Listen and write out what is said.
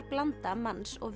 blanda manns og